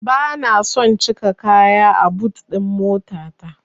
Bana son cika kaya a but ɗin motata.